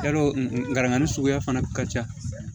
Yarɔ nka suguya fana ka ca